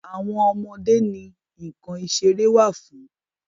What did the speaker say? Àwọn ọmọ ọmọdé ni nǹkan ìṣeré fún.